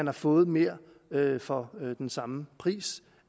har fået mere for den samme pris